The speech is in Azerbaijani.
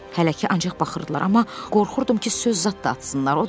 Hələ ki ancaq baxırdılar, amma qorxurdum ki söz zad da atsınlar.